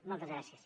moltes gràcies